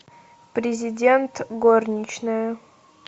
президент горничная